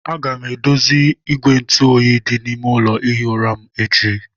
Aga m edozi igwe ntụ oyi dị n'ime ụlọ ihi ụra m echi.